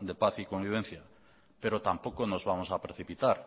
de paz y convivencia pero tampoco nos vamos a precipitar